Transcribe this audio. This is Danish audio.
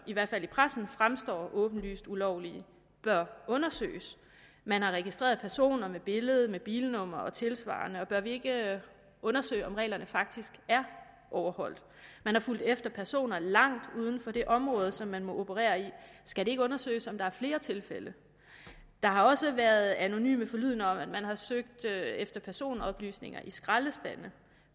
i hvert fald i pressen fremstår som åbenlyst ulovlige bør undersøges man har registreret personer med billede og med bilnumre og tilsvarende bør vi ikke undersøge om reglerne faktisk er overholdt man er fulgt efter personer langt uden for det område som man må operere i skal det ikke undersøges om der er flere tilfælde der har også været anonyme forlydender om at man har søgt efter personoplysninger i skraldespande